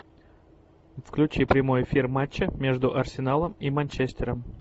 включи прямой эфир матча между арсеналом и манчестером